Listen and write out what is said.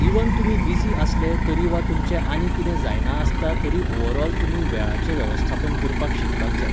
even तुमी busy आसले तरी वा तुमचें आनी कितें जायना आसता तरी ओवर ऑल तुमी वेळाचें वेवस्थापन करपाक शिकपाक जाय